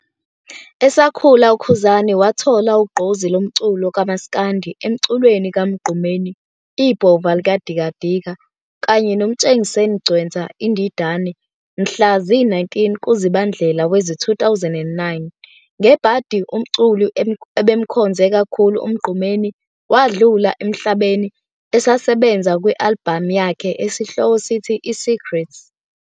Esakhula uKhuzani wathola ugqozi lomculo kamas'kandi emculweni kaMgqumeni, Ibhova likadikadika, kanye noMtshengiseni Ngcwensa, Indidane. Mhla zi-19 kuZibandlea wezi-2009, ngebhadi umculi abe emkhonze kakhulu uMgqumeni wadlula emhlabeni esasebenza kwi-alibhamu yakhe esihloko sithi "I-Secret".